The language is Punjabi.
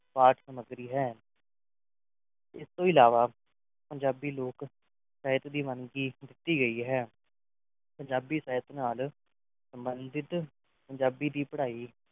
ਪਾਠ-ਸਾਮੱਗਰੀ ਹੈ ਇਸ ਤੋਂ ਇਲਾਵਾ ਪੰਜਾਬੀ ਲੋਕ ਰਹਿਤ ਦੀ ਦਿੱਤੀ ਗਈ ਹੈ ਪੰਜਾਬੀ ਸਾਹਿਤ ਨਾਲ ਸੰਬੰਧਿਤ ਪੰਜਾਬੀ ਦੀ ਪੜ੍ਹਾਈ